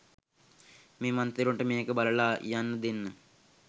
මේ මන්ත්‍රීවරුන්ට මේක බලලා යන්න දෙන්න